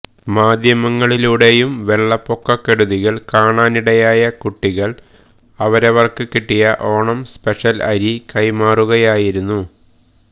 മാധ്യമങ്ങളിലൂടെയും വെള്ളപ്പൊക്ക കെടുതികൾ കാണാനിടയായ കുട്ടികൾ അവരവർക്ക് കിട്ടിയ ഓണം സ്പെഷ്യൽ അരി കൈമാറുകയുമായിരുന്നു